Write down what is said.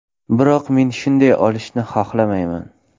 Biroq men shunday o‘lishni xohlamayman.